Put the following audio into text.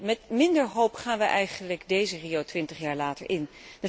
Met minder hoop gaan we eigenlijk deze Rio twintig jaar later in.